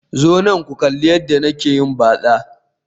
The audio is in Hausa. Zo nan ku kalli yadda nake yin batsa